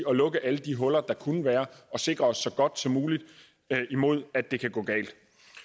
og lukke alle de huller der kunne være og sikre os så godt som muligt imod at det kan gå galt